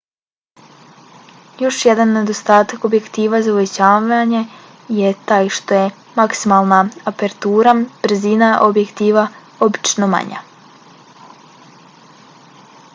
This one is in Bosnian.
još jedan nedostatak objektiva za uvećavanje je taj što je maksimalna apertura brzina objektiva obično manja